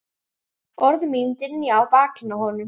Orð mín dynja á bakinu á honum.